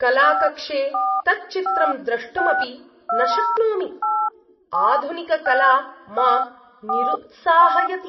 कलाकक्षे तत् चित्रं द्रष्टुम् अपि न शक्नोमि; आधुनिककला मां निरुत्साहयति।